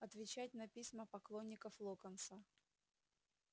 отвечать на письма поклонников локонса